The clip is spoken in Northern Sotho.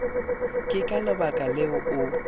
ke ka lebaka leo o